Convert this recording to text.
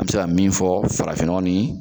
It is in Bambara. A be se ka min fɔ farafin nɔgɔ ni